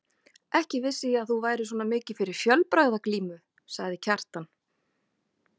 Ekki vissi ég að þú værir svona mikið fyrir fjölbragðaglímu, sagði Kjartan.